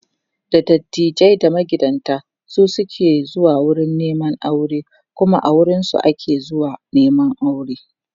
da dattijai da magidanta su suke zuwa wurin Neman aure Kuma a wurinsu ake zuwa Neman aure